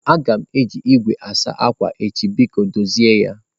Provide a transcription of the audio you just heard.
Aga m eji igwe asa akwa echi biko dozie ya.